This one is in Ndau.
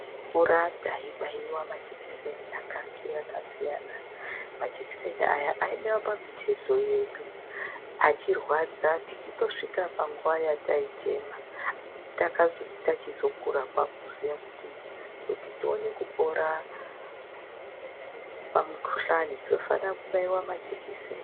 Tichikura taibaiwe majekiseni akasiyana siyana. Majekiseni aya aibaiwe pamutezo yedu, achirwadza tichitosvika panguwa yataichema. Takazoti tachizokura kwaakuziya kuti ,kuti tione kupora pamukuhlani, tofanira kubaiwa majekiseni.